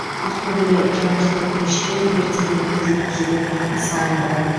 ақтөбеде жаңа жылдық кештер ертеңгіліктер өткізуге тыйым салынды